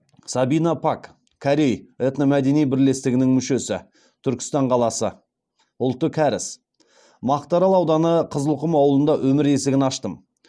сабина пак корей этномәдени бірлестігінің мүшесі түркістан қаласы ұлты кәріс мақтаарал ауданы қызылқұм ауылында өмір есігін аштым